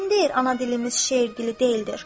Kim deyir ana dilimiz şeirgili deyildir.